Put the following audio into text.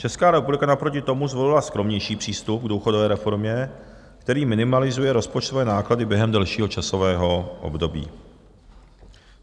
Česká republika naproti tomu zvolila skromnější přístup k důchodové reformě, který minimalizuje rozpočtové náklady během delšího časového období.